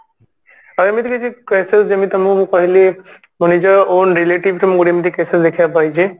ଆଉ ଏମିତି କିଛି ସେ ଯେମତି କି ମୁଁ କହିଲି ମୋ ନିଜ own relative ରେ ମୁଁ ଏମତି cases ଦେଖିବାକୁ ପାଇଛି